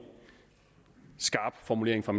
skarp formulering fra